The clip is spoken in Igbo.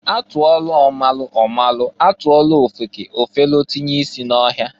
A tụọlụ ọ malụ ọ malụ, a tụọlụ ofeke, ofelu isi tinye ọhịa.